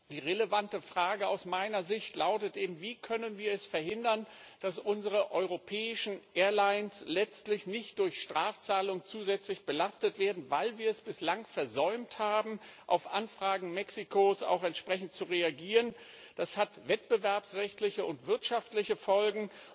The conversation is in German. Die relevante Frage aus meiner Sicht lautet Wie können wir verhindern, dass unsere europäischen Airlines letztlich durch Strafzahlungen zusätzlich belastet werden, weil wir es bislang versäumt haben, auf Anfragen Mexikos entsprechend zu reagieren? Das hat wettbewerbsrechtliche und wirtschaftliche Folgen.